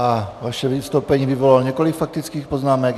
A vaše vystoupení vyvolalo několik faktických poznámek.